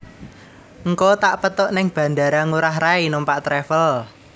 Ngko tak pethuk ning Bandara Ngurah Rai numpak travel